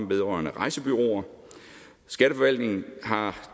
vedrørende rejsebureauer skatteforvaltningen har